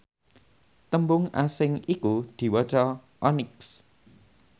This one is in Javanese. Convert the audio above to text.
tembung asing iku diwaca onyx